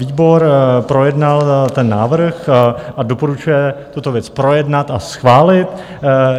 Výbor projednal ten návrh a doporučuje tuto věc projednat a schválit.